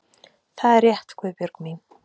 Það er rétt, Guðbjörg mín.